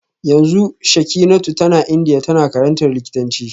Yanzu Shekinatu tana Indiya tana karantar likitanci